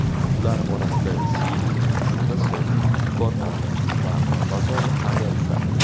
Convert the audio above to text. Ular orasida Siri, Microsoft Cortana va Amazon Alexa bor.